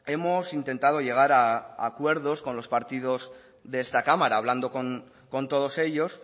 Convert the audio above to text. hemos intentado llegar a acuerdo con los partidos de esta cámara hablando con todos ellos